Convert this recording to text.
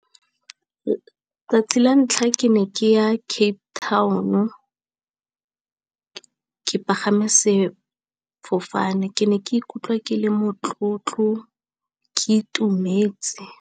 Tsatsi la ntlha ke ne ke ya Cape Town-o , ke pagama sefofane ke ne ke ikutlwa ke le motlotlo ke itumetse.